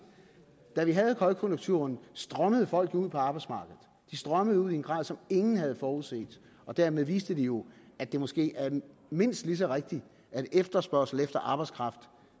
da vi havde højkonjunkturen strømmede folk jo ud på arbejdsmarkedet de strømmede ud i en grad som ingen havde forudset og dermed viste de jo at det måske er mindst lige så rigtigt at efterspørgsel efter arbejdskraft